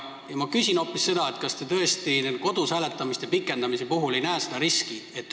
Ma küsin hoopis seda, kas te tõesti kodus hääletamise aja pikendamise puhul ei näe riski.